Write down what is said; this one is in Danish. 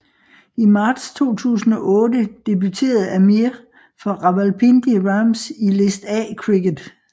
I marts 2008 debuterede Amir for Rawalpindi Rams i List A cricket